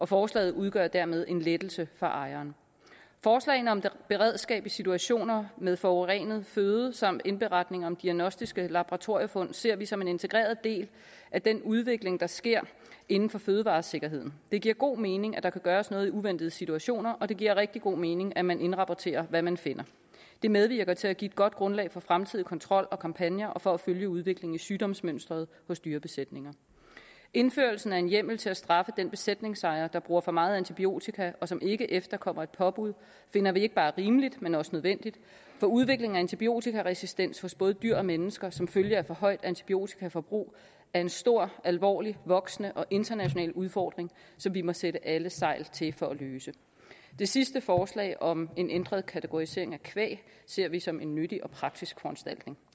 forslaget udgør dermed en lettelse for ejeren forslagene om beredskab i situationer med forurenet føde samt indberetning om diagnostiske laboratorifund ser vi som en integreret del af den udvikling der sker inden for fødevaresikkerheden det giver god mening at der kan gøres noget i uventede situationer og det giver rigtig god mening at man indrapporterer hvad man finder det medvirker til at give et godt grundlag for fremtidig kontrol og kampagner og for at følge udviklingen i sygdomsmønsteret hos dyrebesætninger indførelsen af en hjemmel til at straffe den besætningsejer der bruger for meget antibiotika og som ikke efterkommer et påbud finder vi ikke bare rimelig men også nødvendig for udviklingen af antibiotikaresistens hos både dyr og mennesker som følge af for højt antibiotikaforbrug er en stor alvorlig voksende og international udfordring som vi må sætte alle sejl til for at løse det sidste forslag om en ændret kategorisering af kvæg ser vi som en nyttig og praktisk foranstaltning